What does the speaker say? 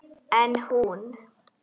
En hún.